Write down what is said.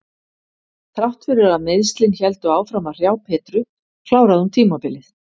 Þrátt fyrir að meiðslin héldu áfram að hrjá Petru kláraði hún tímabilið.